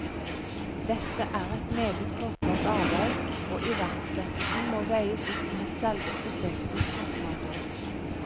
Dette er et meget kostbart arbeid, og iverksettelsen må veies opp mot selve prosjektets kostnader.